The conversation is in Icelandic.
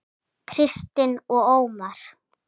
Kristín og Ómar.